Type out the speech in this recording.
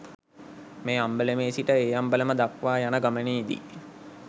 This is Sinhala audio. මේ අම්බලමේ සිට ඒ අම්බලම දක්වා යන ගමනේ දී